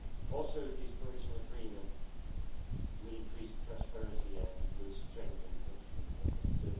Also, this provisional agreement will increase transparency and will strengthen consumer confidence.